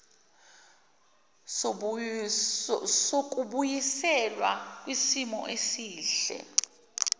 sokubuyiselwa kwisimo esihle